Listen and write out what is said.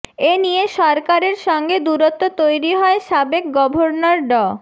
এ নিয়ে সরকারের সঙ্গে দূরত্ব তৈরি হয় সাবেক গভর্নর ড